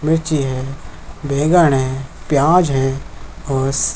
लीची हैं बैगन हैं प्याज हैं और--